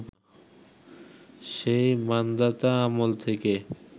সেই মান্ধাতা আমল থেকে